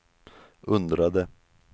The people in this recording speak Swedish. undrade